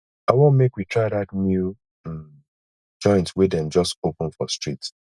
i wan make we try dat new um joint wey dem just open for street